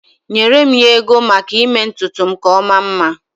Enyere m ya ego maka ime ntutu m ka ọ maa mma.